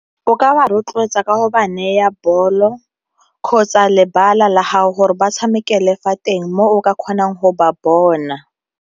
O ka ba rotloetsa ka go ba neta bolo kgotsa lebala la gago gore ba tshamekele fa teng mo o ka kgonang go ba bona.